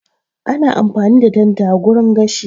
Ana amfani da tanda wurin gashi